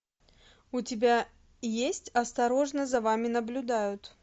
у тебя есть осторожно за вами наблюдают